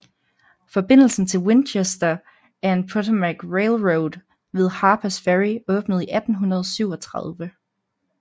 Forbindelsen til Winchester and Potomac Railroad ved Harpers Ferry åbnede i 1837